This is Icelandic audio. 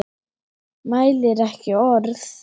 Mælir ekki orð.